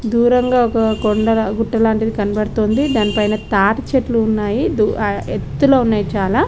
దూరంగా ఒక్క కొండల గుట్టలాంటిది కనబడుతుంది దాన్ పైన తాటు చెట్లు ఉన్నాయి ఆహ్ ఎత్తులో ఉన్నాయి చాలా.